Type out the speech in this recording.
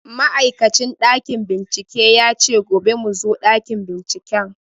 Ma'aikacin ɗakin bincike ya ce gobe mu zo ɗakin binciken